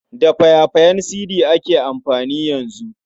Da faya-fayen sidi ake amfani yanzu.